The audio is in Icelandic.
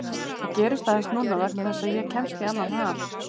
Það gerist aðeins núna vegna þess að ég kemst í annan ham.